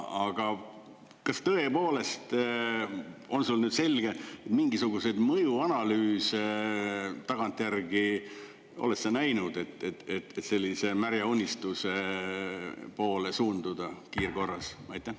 Aga kas tõepoolest on sul nüüd selge, et mingisuguseid mõjuanalüüse tagantjärgi, oled sa näinud, et sellise märja unistuse poole suunduda kiirkorras?